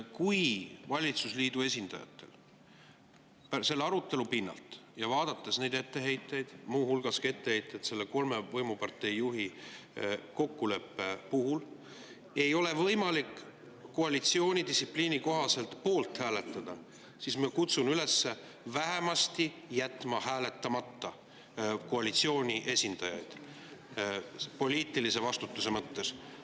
Kui valitsusliidu esindajatel selle arutelu pinnalt ja vaadates neid etteheiteid – muu hulgas etteheiteid kolme võimupartei juhi kokkuleppe kohta – ei ole võimalik koalitsiooni distsipliini kohaselt poolt hääletada, siis ma kutsun koalitsiooni esindajaid üles vähemasti jätma hääletamata poliitilise vastutuse mõttes.